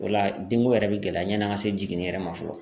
O la denko yɛrɛ bi gɛlɛya ɲɛn'an ka se jiginni yɛrɛ ma fɔlɔ.